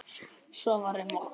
Og svo var um okkur.